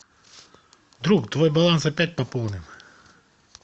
друг твой баланс опять пополнен